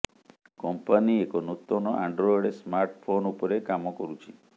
company ଏକ ନୂତନ Android smartphone ଉପରେ କାମ କରୁଛି